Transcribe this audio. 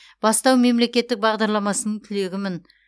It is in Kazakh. бастау мемлекеттік бағдарламасының түлегімін